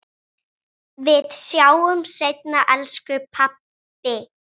Við sjáumst seinna, elsku pabbi.